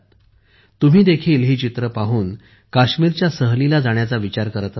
तुम्हीदेखील ही चित्रे पाहून काश्मीरच्या सहलीला जाण्याचा विचार करत असाल